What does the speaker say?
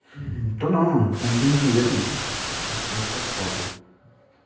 да нормально континген эрме носок падай